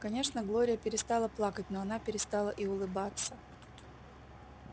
конечно глория перестала плакать но она перестала и улыбаться